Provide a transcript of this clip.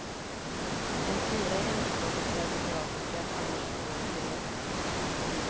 En fyra i hemspråket serbokroatiska, annars tvåor och treor.